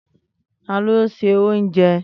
Tani o n se ounje?